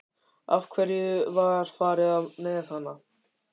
Af hverju var farið með hana?